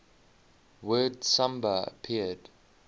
word samba appeared